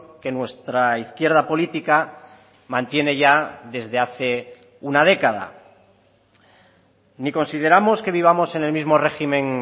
que nuestra izquierda política mantiene ya desde hace una década ni consideramos que vivamos en el mismo régimen